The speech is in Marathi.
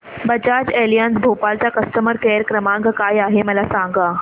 बजाज एलियांज भोपाळ चा कस्टमर केअर क्रमांक काय आहे मला सांगा